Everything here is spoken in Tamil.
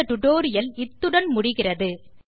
இந்த டியூட்டோரியல் இத்துடன் முடிகிறது